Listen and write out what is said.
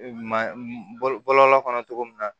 Ma bɔlɔlɔ kɔnɔ cogo min na